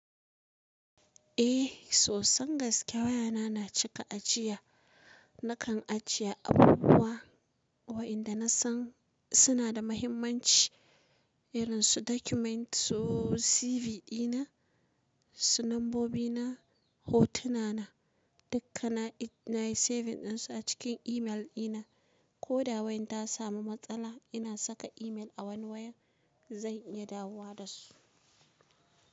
Eh sosan gaske wayana na cika ajiya, nakan ajiye abubuwa wa'inda nasan suna da muhimmanci irin su documents, su CV dina, su nambobi na, hotuna na, dukkana nayi saving dinsu a cikin email dina. Ko da wayan ta samu matsala ina saka email a wani waya zan iya dawo da su.